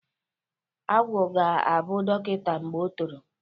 Agwụ ga-abụ dọkịnta mgbe o toro.